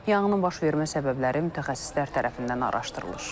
Yanğının baş vermə səbəbləri mütəxəssislər tərəfindən araşdırılır.